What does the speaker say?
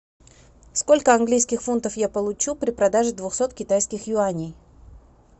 сколько английских фунтов я получу при продаже двухсот китайских юаней